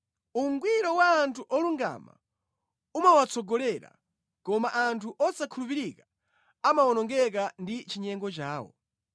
Ungwiro wa anthu olungama umawatsogolera, koma anthu osakhulupirika amawonongeka ndi chinyengo chawo.